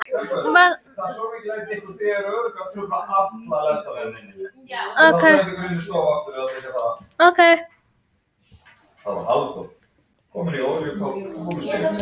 Varað við öskufjúki syðst á landinu